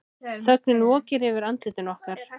Þögnin vokir yfir andlitum okkar.